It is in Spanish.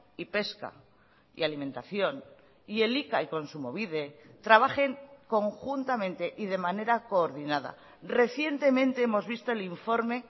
y pesca y alimentación y elika y kontsumobide trabajen conjuntamente y de manera coordinada recientemente hemos visto el informe